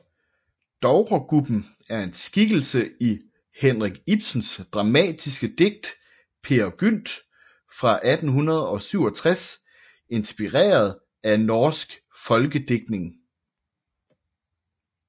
Dovregubben er en skikkelse i Henrik Ibsens dramatiske digt Peer Gynt fra 1867 inspireret af norsk folkedigtning